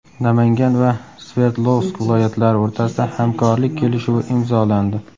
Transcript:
Namangan va Sverdlovsk viloyatlari o‘rtasida hamkorlik kelishuvi imzolandi.